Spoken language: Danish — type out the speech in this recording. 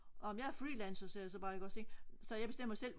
nå men jeg er freelancer sagde jeg så bare ikk ogs ikk så jeg bestemmer selv